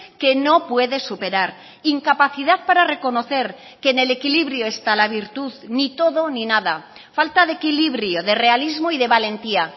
que no puede superar incapacidad para reconocer que en el equilibrio está la virtud ni todo ni nada falta de equilibrio de realismo y de valentía